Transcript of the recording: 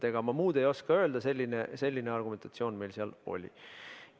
Ega ma muud ei oska öelda, selline argumentatsioon meil seal oli.